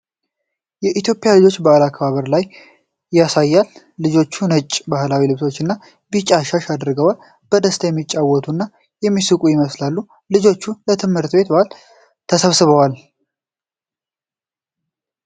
የኢትዮጵያ ልጆች በበዓል አከባበር ላይ ያሳያል። ልጆቹ ነጭ ባህላዊ ልብሶችና ቢጫ ሻሽ አድርገዋል። በደስታ የሚጫወቱና የሚሳቁ ይመስላሉ። ልጆቹ ለትምህርት ቤት በዓል ተሰብስበዋል?